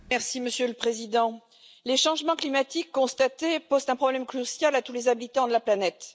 Monsieur le Président, les changements climatiques constatés posent un problème crucial à tous les habitants de la planète.